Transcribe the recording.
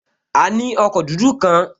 A ní ọkọ̀ dúdú kan